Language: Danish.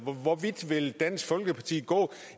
hvor vidt vil dansk folkeparti gå